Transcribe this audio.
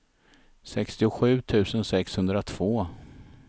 sextiosju tusen sexhundratvå